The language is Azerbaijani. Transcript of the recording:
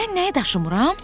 Mən nəyi daşımıram?